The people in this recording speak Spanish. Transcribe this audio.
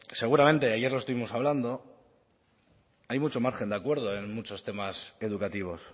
seguramente ayer lo estuvimos hablando hay mucho margen de acuerdo en muchos temas educativos